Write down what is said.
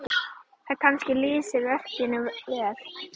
Það kannski lýsir verkinu vel.